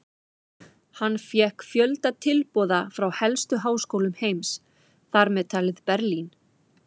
Hann fékk fjölda tilboða frá helstu háskólum heims, þar með talið Berlín.